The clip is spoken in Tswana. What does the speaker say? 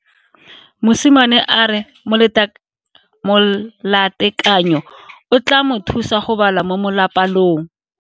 Mosimane a re molatekanyo o tla mo thusa go bala mo molapalong.